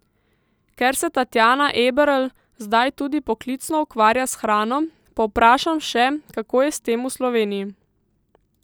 Ker se Tatjana Eberl zdaj tudi poklicno ukvarja s hrano, povprašam še, kako je s tem v Sloveniji.